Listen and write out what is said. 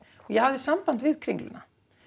ég hafði samband við Kringluna